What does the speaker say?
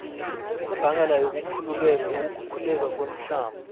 imbangela yokukhukhuleka komhlaba